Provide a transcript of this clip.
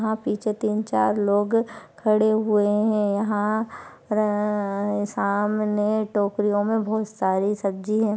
यहा पे सिर्फ तीन चार लोग खड़े हुए है यहा र र र सामने टोकरीया मे बहुत सारी सब्जी है।